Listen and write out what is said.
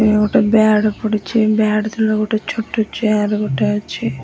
ଇଏ ଗୋଟାଏ ବ୍ୟାଡ ପଡିଛି ବ୍ୟାଡ ତଳେ ଗୋଟେ ଛୋଟ ଚିୟାର ଗୋଟେ ଅଛି।